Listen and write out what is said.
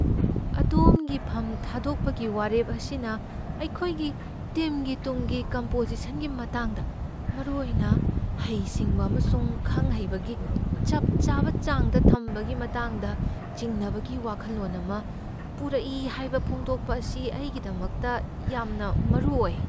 ꯑꯗꯣꯝꯒꯤ ꯐꯝ ꯊꯥꯗꯣꯛꯄꯒꯤ ꯋꯥꯔꯦꯞ ꯑꯁꯤꯅ ꯑꯩꯈꯣꯏꯒꯤ ꯇꯤꯝꯒꯤ ꯇꯨꯡꯒꯤ ꯀꯝꯄꯣꯖꯤꯁꯟꯒꯤ ꯃꯇꯥꯡꯗ, ꯃꯔꯨꯑꯣꯏꯅ ꯍꯩꯁꯤꯡꯕ ꯑꯃꯁꯨꯡ ꯈꯪ ꯍꯩꯕꯒꯤ ꯆꯞ ꯆꯥꯕ ꯆꯥꯡꯗ ꯊꯝꯕꯒꯤ ꯃꯇꯥꯡꯗ ꯆꯤꯡꯅꯕꯒꯤ ꯋꯥꯈꯜꯂꯣꯟ ꯑꯃ ꯄꯨꯔꯛꯏ ꯍꯥꯏꯕ ꯐꯣꯡꯗꯣꯛꯄ ꯑꯁꯤ ꯑꯩꯒꯤꯗꯃꯛꯇ ꯌꯥꯝꯅ ꯃꯔꯨ ꯑꯣꯏ꯫